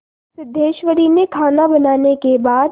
सिद्धेश्वरी ने खाना बनाने के बाद